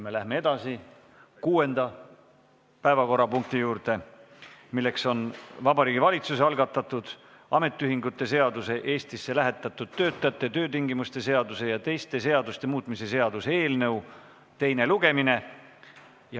Me läheme edasi kuuenda päevakorrapunkti juurde, milleks on Vabariigi Valitsuse algatatud ametiühingute seaduse, Eestisse lähetatud töötajate töötingimuste seaduse ja teiste seaduste muutmise seaduse eelnõu teine lugemine.